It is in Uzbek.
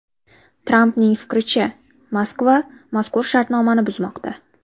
Trampning fikricha, Moskva mazkur shartnomani buzmoqda.